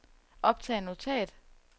optag notat